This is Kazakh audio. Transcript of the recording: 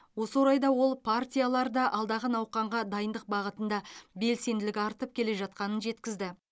осы орайда ол партияларда алдағы науқанға дайындық бағытында белсенділік артып келе жатқанын жеткізді